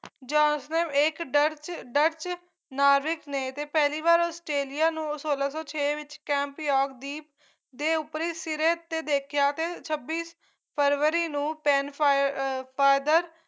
ਜਾਂਸਫ ਏਕ Dutch Dutch ਨਾਵਿਕ ਨੇ ਤੇ ਪਹਿਲੀ ਵਾਰ ਆਸਟ੍ਰੇਲੀਆ ਨੂੰ ਸੋਲਾਂ ਸੌ ਛੇ ਵਿੱਚ ਕੈਂਪੇਓਗ ਦੀ ਦੇ ਉੱਪਰੀ ਸਿਰੇ ਤੇ ਦੇਖਿਆ ਤੇ ਛੱਬੀ ਫਰਵਰੀ ਨੂੰ ਪੈਨ ਫਾਏ father